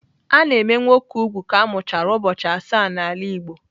A na-eme nwoke úgwù ka a mụchara ụbọchị asaa n'ala Igbo.